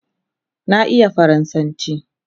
Na iya faransanchi